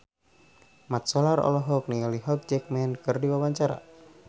Mat Solar olohok ningali Hugh Jackman keur diwawancara